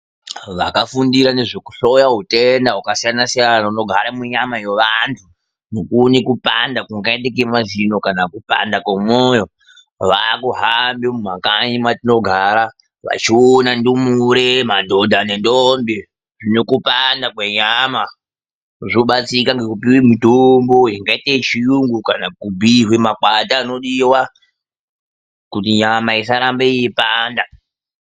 Vakafundira nezvekuhloya utenda hwakasiyana siyana hunogara munyama yovantu, nokuona kupanda kungaite kemazino kana kupanda komwoyo, vaakuhamba mumakanyi matinogara vachiona ndumure, madhodha, nendombi zvinokupanda kwenyama. Zvobatsirika ngekutore mitombo ingaite yechiyungu kana kubhiirwe makwati anodiwa, kuti nyama isarambe yeipanda.